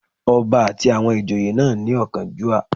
Ọba àti àwọn ìjòyè náà ní ọ̀kánjúà